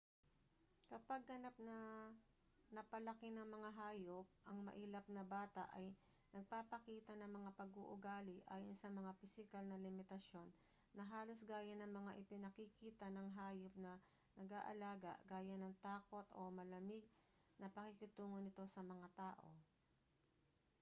kapag ganap na napalaki ng mga hayop ang mailap na bata ay nagpapakita ng mga pag-uugali ayon sa mga pisikal na limitasyon na halos gaya ng mga ipinakikita ng hayop na nag-aalaga gaya ng takot o malamig na pakikitungo nito sa mga tao